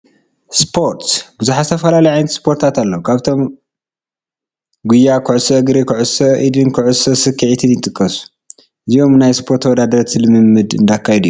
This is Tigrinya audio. ስፖርት፡- ብዙሓት ዝተፈላለዩ ዓይነታት ስፖርት ኣለው፡፡ ካብዚኣቶም ጉያ፣ ኩዕሶ እግሪ፣ ኩዕሶ ኢድን ኩዕሶ ስክዔትን ይጥቀሱ፡፡ እዚኦም ናይ ስፖርት ተወዳደርቲ ልምምድ እንዳካየዱ እዮም፡፡